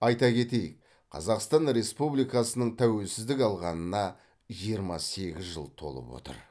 айта кетейік қазақстан республикасының тәуелсіздік алғанына жиырма сегіз жыл толып отыр